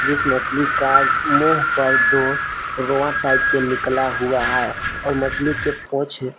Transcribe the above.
इस मछली का मुंह पर दो रोवां टाइप के निकला हुआ है और मछली के पोछ--